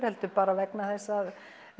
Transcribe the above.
heldur bara vegna þess að